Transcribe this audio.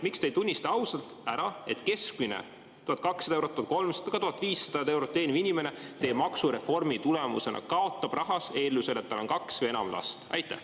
Miks te ei tunnista ausalt, et keskmist palka – 1200 eurot, 1300, ka 1500 eurot – teeniv inimene teie maksureformi tulemusena kaotab rahas eeldusel, et tal on kaks või enam last?